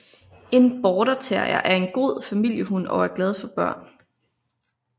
En Border terrier er en god familiehund og er glad for børn